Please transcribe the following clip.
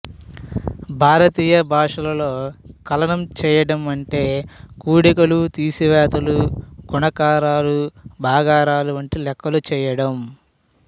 భారతీయ భాషలలో కలనం చెయ్యడం అంటే కూడికలు తీసివేతలు గుణకారాలు భాగారాలు వంటి లెక్కలు చెయ్యడం